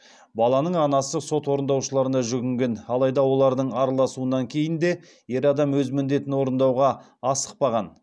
баланың анасы сот орындаушыларына жүгінген алайда олардың араласуынан кейін де ер адам өз міндетін орындауға асықпаған